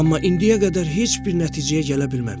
Amma indiyə qədər heç bir nəticəyə gələ bilməmişəm.